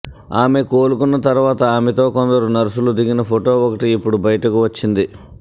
ఆమె కోలుకున్న తర్వాత ఆమెతో కొందరు నర్సులు దిగిన ఫొటో ఒకటి ఇప్పుడు బయటకు వచ్చింది